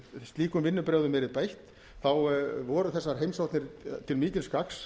slíkum vinnubrögðum yrði beitt þá voru þessar heimsóknir til mikils gagns